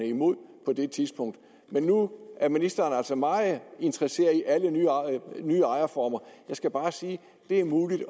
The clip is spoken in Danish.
imod på det tidspunkt men nu er ministeren altså meget interesseret i alle nye ejerformer jeg skal bare sige at det er muligt